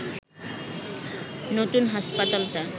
নতুন হাসপাতালটা